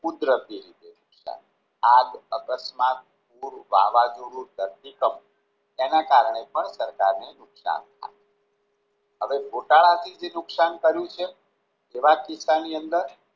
કુદરતી નુકશાન આગ અકસ્માત વાવાઝોડું ધરતીકંપ તેના કારણે પણ કારણે પણ સરકારને નુકશાન થાય હવે ગોટાળાથી જે નુકસાન કર્યું તેવા કિસ્સાની અંદર